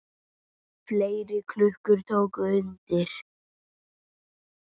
Fleiri klukkur tóku undir.